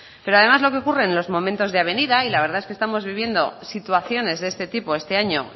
pero además lo que ocurre en los momentos de avenida y la verdad es que estamos viviendo situaciones de este tipo este año